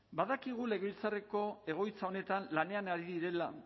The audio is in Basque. badakigu legebiltzarreko egoitza honetan lanean ari direla